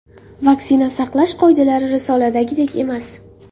Vaksina saqlash qoidalari risoladagidek emas.